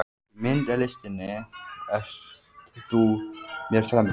Í myndlistinni ert þú mér fremri.